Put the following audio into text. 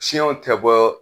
Cnɛw tɛ bɔ